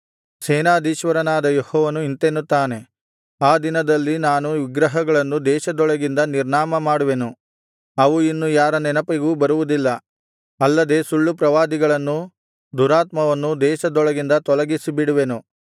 ಸೇನಾಧೀಶ್ವರನಾದ ಯೆಹೋವನು ಇಂತೆನ್ನುತ್ತಾನೆ ಆ ದಿನದಲ್ಲಿ ನಾನು ವಿಗ್ರಹಗಳನ್ನು ದೇಶದೊಳಗಿಂದ ನಿರ್ನಾಮಮಾಡುವೆನು ಅವು ಇನ್ನು ಯಾರ ನೆನಪಿಗೂ ಬರುವುದಿಲ್ಲ ಅಲ್ಲದೆ ಸುಳ್ಳು ಪ್ರವಾದಿಗಳನ್ನೂ ದುರಾತ್ಮವನ್ನೂ ದೇಶದೊಳಗಿಂದ ತೊಲಗಿಸಿಬಿಡುವೆನು